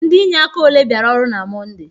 Ndị inye aka ole biara ọrụ na Mọnde?